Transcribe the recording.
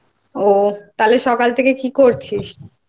ও তাহলে সকাল থেকে কি করছিস?